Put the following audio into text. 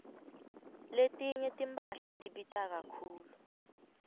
letinye timphahla tibita kakhulu